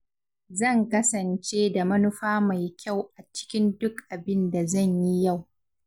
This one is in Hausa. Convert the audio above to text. Zan kasance da manufa mai kyau a cikin duk abin da zan yi yau.